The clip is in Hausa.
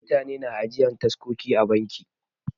Mutane na ajiyan taskoki a banki.